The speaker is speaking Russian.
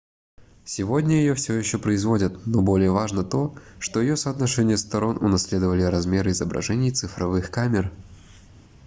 сегодня её всё ещё производят но более важно то что её соотношение сторон унаследовали размеры изображений цифровых камер